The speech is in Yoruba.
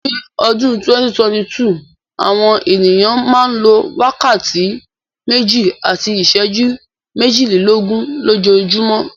Ní ọdún 2022, àwọn ènìyàn a máa lo wákàtí méjì àti iṣẹ́jú méjìlelógún lójoojúmọ́.